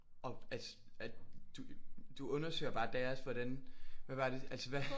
Og at at du du undersøger bare deres hvordan hvad var det altså hvad?